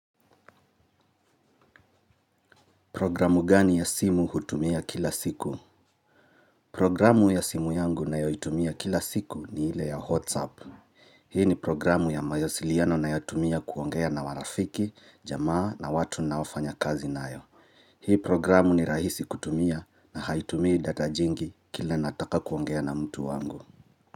Programu gani ya simu hutumia kila siku? Programu ya simu yangu ninayoitumia kila siku ni ile ya WhatsApp hii ni programu ya mawasiliano ninayotumia kuongea na marafiki jamaa na watu ninaofanya kazi nao. Hii programu ni rahisi kutumia na haitumii data jingi kile nataka kuongea na mtu wangu.